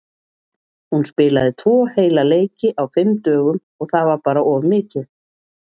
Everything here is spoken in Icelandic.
Hún spilaði tvo heila leiki á fimm dögum og það var bara of mikið.